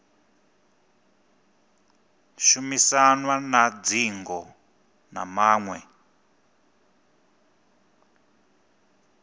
shumisanwa na dzingo na maṅwe